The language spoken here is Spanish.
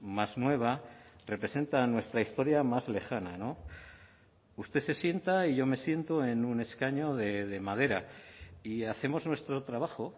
más nueva representan nuestra historia más lejana usted se sienta y yo me siento en un escaño de madera y hacemos nuestro trabajo